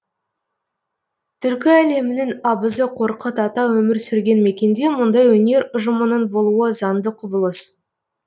түркі әлемінің абызы қорқыт ата өмір сүрген мекенде мұндай өнер ұжымының болуы заңды құбылыс